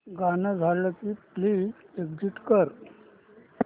गाणं झालं की प्लीज एग्झिट कर